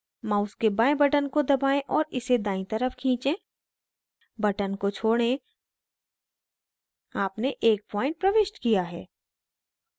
mouse के बाएं button को दबाएं और इसे दायीं तरफ खींचें button को छोड़ें आपने एक point प्रविष्ट किया है